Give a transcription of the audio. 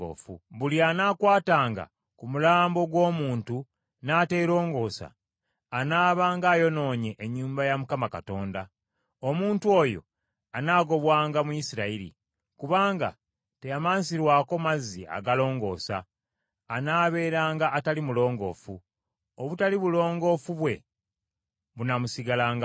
Buli anaakwatanga ku mulambo gw’omuntu n’ateelongoosa, anaabanga ayonoonye ennyumba ya Mukama Katonda. Omuntu oyo anaagobwanga mu Isirayiri. Kubanga teyamansirwako mazzi agalongoosa, anaabeeranga atali mulongoofu; obutali bulongoofu bwe bunaamusigalangako.